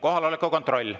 Kohaloleku kontroll.